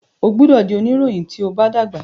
o gbódò dì onirohin tíó bá dàgbà!